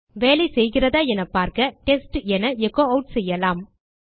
வேலை செய்கிறதா என பார்க்க டெஸ்ட் என எச்சோ ஆட் செய்யலாம்